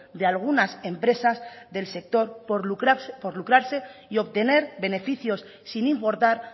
de algunas empresas del sector por lucrase y obtener beneficios sin importar